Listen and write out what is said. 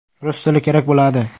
Rus tili kerak bo‘ladi.